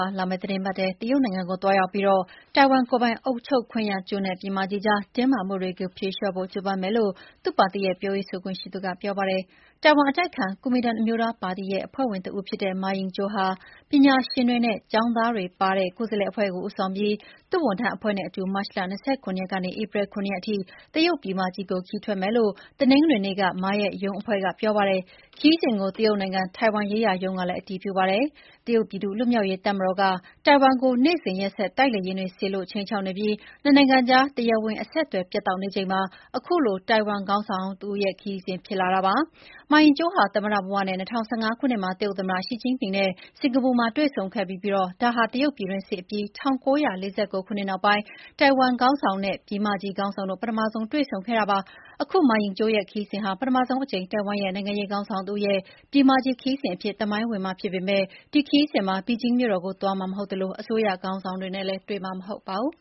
ာ လာမယ့် သီတင်းပတ်ထဲမှာ တရုတ်နိုင်ငံကိုသွားရောက်ပြီး ထိုင်ဝမ်ကိုယ်ပိုင်အုပ်ချုပ်ခွင့်ရကျွန်းနဲ့ ပြည်မကြီးကြား တင်းမာမှုတွေကိုဖြေလျှော့ဖို့ ကြိုးပမ်းမယ်လို့ သူ့ပါတီရဲ့ ပြောရေးဆိုခွင့်ရှိသူက ပြောပါတယ်။ ထိုင်ဝမ်အတိုက်အခံ ကူမင်တန်အမျိုးသားရေးပါတီအဖွဲ့ဝင်တဦးဖြစ်တဲ့ မာရင်ကျောင်းဟာ ပညာရှင်တွေနဲ့ ကျောင်းသွားတွေပါတဲ့ ကိုယ်စားလှယ်အဖွဲ့ကို ဦးဆောင်ပြီး သူ့ဝန်ထမ်းအဖွဲ့နဲ့အတူ မတ်လ ၂၇ ရက်ကနေ ဧပြီလ ၇ ရက်အထိ တရုတ်ပြည်မကြီးကို ခရီးထွက်မယ်လို့ တနင်္ဂနွေနေ့က မာရဲ့ရုံးအဖွဲ့ကပြောပါတယ်။ ဒီခရီးစဉ်ကို တရုတ်နိုင်ငံ ထိုင်ဝမ်ရေးရာရုံးကလည်း အတည်ပြုခဲ့ပါတယ်။ တရုတ်ပြည်သူ့လွတ်မြောက်ရေးတပ်မတော်က ထိုင်ဝမ်ကို နေ့စဉ်ရက်ဆက် တိုက်လေယာဉ်တွေ စေလွှတ်ခြိမ်းခြောက်နေပြီး နှစ်နိုင်ငံကြား တရားဝင် အဆက်အသွယ် ပြတ်တောက်နေချိန်မှာ အခုလို ထိုင်ဝမ်ခေါင်းဆောင်ဟောင်းရဲ့ ခရီးစဉ် ဖြစ်လာတာပါ။ မာရင်းကျောင်းဟာ သမ္မတဘဝနဲ့ ၂၀၁၅ ခုနှစ်မှာ တရုတ်သမ္မတရှီကျင့်ဖျင်နဲ့ စင်္ကာပူမှာတွေ့ဆုံခဲ့ဖူးပြီး ဒါဟာ တရုတ်ပြည်တွင်းစစ်အပြီး ၁၉၄၉ နောက်ပိုင်း ထိုင်ဝမ်ခေါင်းဆောင်နဲ့ ပြည်မကြီးခေါင်းဆောင်တို့ ပထမဆုံး တွေ့ဆုံခဲ့တာဖြစ်ပါတယ်။ အခု မာရင်ကျောင်းရဲ့ခရီးစဉ်ဟာလည်း ပထမဆုံးအကြိမ် ထိုင်ဝမ်နိုင်ငံရေး ခေါင်းဆောင်တဦးရဲ့ ပြည်မကြီးခရီးစဉ်အဖြစ် သမိုင်းဝင်မှာဖြစ်ပေမယ့် ဒီခရီးစဉ်မှာ ဘေဂျင်းမြို့တော်ကို သွားမှာမဟုတ်သလို အစိုးရခေါင်းဆောင်တွေနဲ့လည်း တွေ့မှာမဟုတ်ပါဘူး